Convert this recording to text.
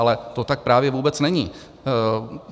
Ale to tak právě vůbec není.